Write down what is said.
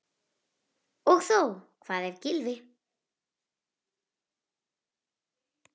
Og þó Hvað ef Gylfi.